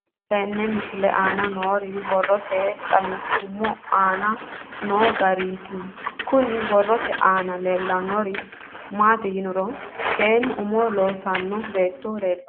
Tenne misile aana noore borroteni xawiseemohu aane noo gariniiti. Kunni borrote aana leelanori maati yiniro seenu umo loossanno beeto leeltanoe.